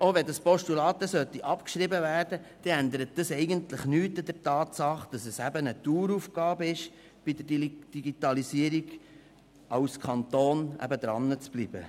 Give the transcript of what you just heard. Auch wenn es abgeschrieben werden sollte, würde das nichts an der Tatsache ändern, dass es eine Daueraufgabe ist, als Kanton bei der Digitalisierung dranzubleiben.